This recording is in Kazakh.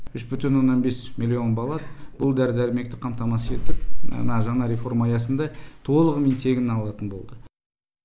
үш бүтін оннан бес миллион баллар бұл дәрі дәрмекті қамтамасыз етіп мына жаңа реформа аясында толығымен тегін алатын болды